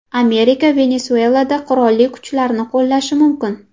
Amerika Venesuelada qurolli kuchlarni qo‘llashi mumkin.